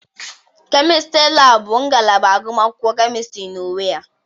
Kemịstịrị laabụ bụ ngalaba agụmakwụkwọ Kemịstịrị na-enwe ya.